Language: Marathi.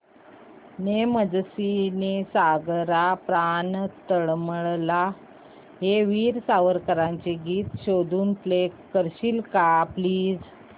ने मजसी ने सागरा प्राण तळमळला हे वीर सावरकरांचे गीत शोधून प्ले करशील का प्लीज